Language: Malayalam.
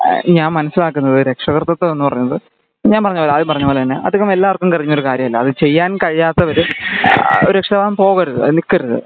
ഞാൻ മനസിലാക്കുന്നത് രക്ഷാകർത്തിതം എന്ന പറഞ്ഞത് ഞാൻ പറഞ്ഞപോലെ ആദ്യം പറഞ്ഞ പോലെ അതികം എല്ലാര്ക്കും അറിയുന്നൊരു ഒരു കാര്യം അല്ല ചെയ്യാൻ കഴിയാത്തവര് ആഹ്ഹ് .. ഒരു രക്ഷിതാവാവാൻ പോകരുത് നിക്കരുത്